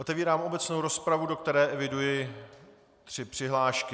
Otevírám obecnou rozpravu, do které eviduji tři přihlášky.